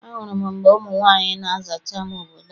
Ahụrụ m mgbe ụmụ nwaanyị na-azacha ama obodo ahụ.